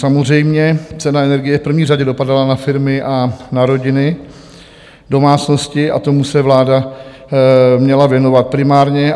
Samozřejmě, cena energie v první řadě dopadala na firmy a na rodiny, domácnosti a tomu se vláda měla věnovat primárně.